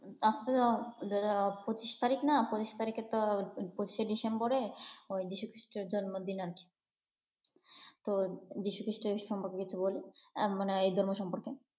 আজকে পঁচিশ তারিখ না? পঁচিশ তারিখে তো পঁচিশে ডিসেম্বরে যীশুখ্রিস্টের জন্মদিন আরকি। তো যীশু খ্রীষ্ট সম্পর্কে কিছু বলি? মানে ধর্ম সম্পর্কে?